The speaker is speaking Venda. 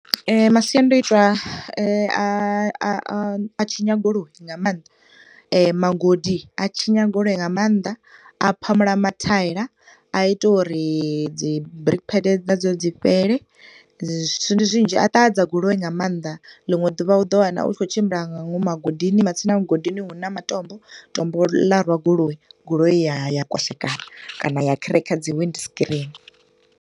Masiandoitwa a a a tshinya goloi nga maanḓa magodi a tshinya goloi nga maanḓa. A phamula mathaila, a ita uri dzi brake pads na dzo dzi fhele, zwithu ndi zwinzhi, a ṱahadza goloi nga maanḓa, liṅwe ḓuvha u ḓo wana u tshi khou tshimbila nga ngomu magodini, matsina mugodini huna matombo, tombo ḽa rwa goloi, goloi ya ya kwashekana kana ya crack dzi wind screen.